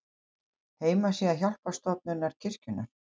Heimasíða Hjálparstofnunar kirkjunnar.